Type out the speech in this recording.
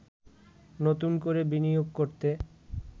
নতুন করে বিনিয়োগ করতে